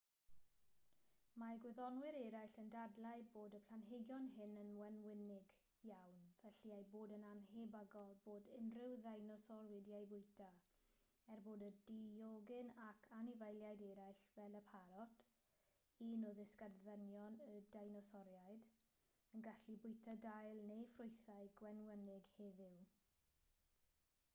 mae gwyddonwyr eraill yn dadlau bod y planhigion hyn yn wenwynig iawn felly ei bod yn annhebygol bod unrhyw ddeinosor wedi eu bwyta er bod y diogyn ac anifeiliaid eraill fel y parot un o ddisgynyddion y deinosoriaid yn gallu bwyta dail neu ffrwythau gwenwynig heddiw